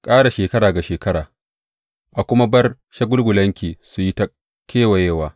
Ƙara shekara ga shekara a kuma bar shagulgulanki su yi ta kewayewa.